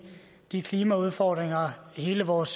de klimaudfordringer hele vores